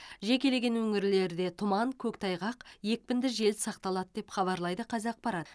жекелеген өңірлерде тұман көктайғақ екпінді жел сақталады деп хабарлайды қазақпарат